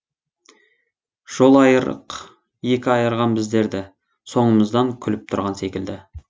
жолайырық екі айырған біздерді соңымыздан күліп тұрған секілді